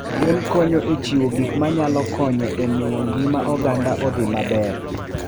Gwen konyo e chiwo gik manyalo konyo e miyo ngima oganda odhi maber.